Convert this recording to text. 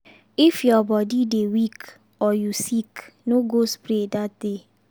if your body dey weak or you sick no go spray that day.